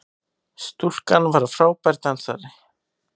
Stúlkan frábær dansari!